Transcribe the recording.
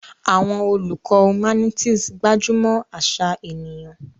Àwọn olùkọ́ humanities gbájú mọ́ àṣà ènìyàn.